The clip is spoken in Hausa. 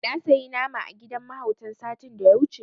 Na sayi nama a gidan mahautan satin da ya wuce.